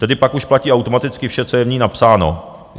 Tedy pak už platí automaticky vše, co je v ní napsáno.